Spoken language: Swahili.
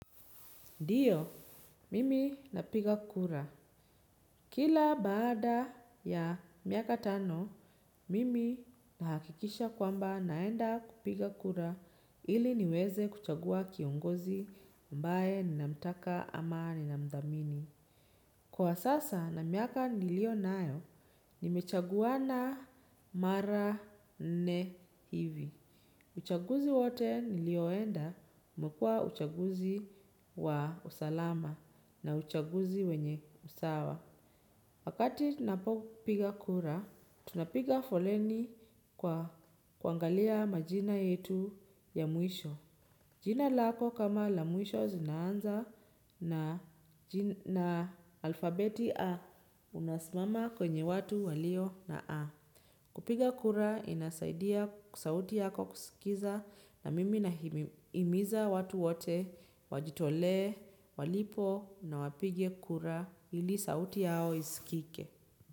Ndiyo, mimi napiga kura. Kila baada ya miaka tano, mimi nahakikisha kwamba naenda kupiga kura ili niweze kuchagua kiongozi ambaye ninamtaka ama ninamthamini. Kwa sasa na miaka niliyo nayo, nimechaguana mara nne hivi. Uchaguzi wote nilioenda, umekuwa uchaguzi wa usalama na uchaguzi wenye usawa. Wakati napopiga kura, tunapiga foleni kwa kuangalia majina yetu ya mwisho. Jina lako kama la mwisho zinaanza na alfabeti A, unasimama kwenye watu walio na A. Kupiga kura inasaidia sauti yako kusikiza na mimi nahimiza watu wote wajitolee walipo na wapige kura ili sauti yao isikike.